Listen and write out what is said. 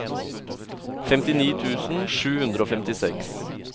femtini tusen sju hundre og femtiseks